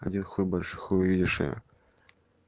один хуй больше хуй увидишь её